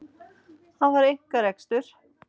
Þetta var einkarekstur!